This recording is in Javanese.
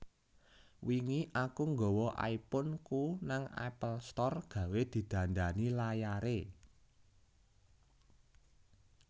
Wingi aku nggawa iPhone ku nang Apple Store gawe didandani layare